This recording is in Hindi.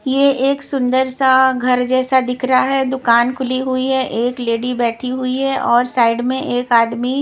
ये एक सुंदर सा घर जैसा दिख रहा है दुकान खुली हुई है एक लेडी बैठी हुई है और साइड में एक आदमी --